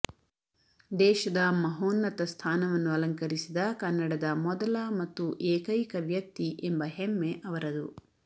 ದೇಶದ ಮಹೋನ್ನತ ಸ್ಥಾನವನ್ನು ಅಲಂಕರಿಸಿದ ಕನ್ನಡದ ಮೊದಲ ಮತ್ತು ಏಕೈಕ ವ್ಯಕ್ತಿ ಎಂಬ ಹೆಮ್ಮೆ ಅವರದು